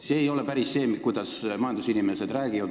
See ei ole päris see, kuidas majandusinimesed räägivad.